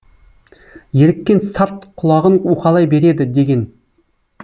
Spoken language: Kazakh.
еріккен сарт құлағын уқалай береді деген